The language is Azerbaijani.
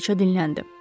Kraliça dinləndi.